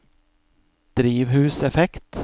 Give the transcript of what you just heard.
drivhuseffekt